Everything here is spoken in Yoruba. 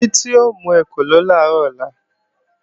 Títí ó mú ekòló làárọ̀ ọ̀la